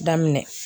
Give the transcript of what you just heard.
Daminɛ